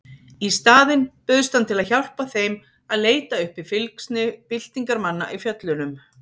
Í staðinn bauðst hann til að hjálpa þeim að leita uppi fylgsni byltingarmanna í fjöllunum.